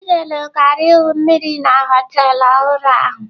Chinelo gara igwu mmiri na họtelụ ọhụrụ ahụ.